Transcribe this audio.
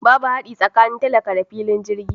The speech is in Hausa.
Babu hadi tsakanin talaka da kuma filin jirgi.